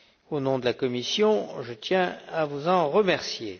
Au nom de la Commission, je tiens à vous en remercier.